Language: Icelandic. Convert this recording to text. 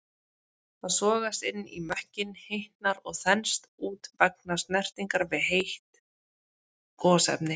Það sogast inn í mökkinn, hitnar og þenst út vegna snertingar við heit gosefni.